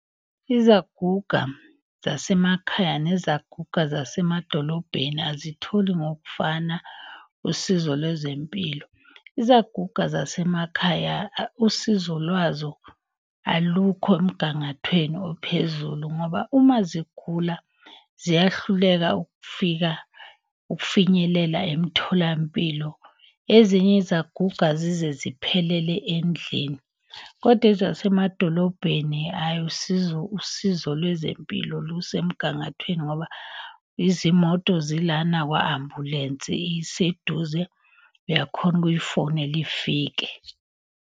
Izaguga zasemakhaya nezaguga zasemadolobheni azitholi ngokufana usizo lwezempilo. Izaguga zasemakhaya usizo lwazo alukho emgangathweni ophezulu ngoba uma zigula ziyahluleka ukufika ukufinyelela emtholampilo. Ezinye izaguga zize ziphelele endlini. Kodwa ezasemadolobheni ayi usizo, usizo lwezempilo. lusemgangathweni ngoba izimoto zilana, kwa-ambulensi iseduze, uyakhona ukuyifonela ifike.